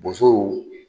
Bosow